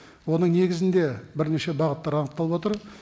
оның негізінде бірнеше бағыттар анықталып отыр